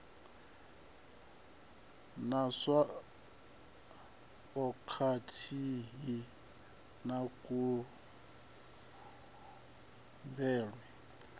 na tswayo khathihi na kuvhumbelwe